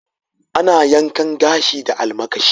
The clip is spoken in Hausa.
Ana yankan gashi da almakashi.